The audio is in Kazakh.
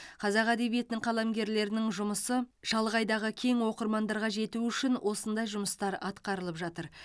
қазақ әдебиетінің қаламгерлерінің жұмысы шалғайдағы кең оқырмандарға жету үшін осындай жұмыстар атқарылып жатыр